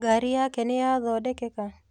Ngari yake nĩyathondekeka?